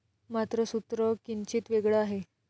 मात्र सूत्र किंचित वेगळं आहे.